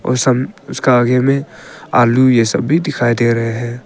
उसका आगे मे आलू ये सब भी दिखाई दे रहे हैं।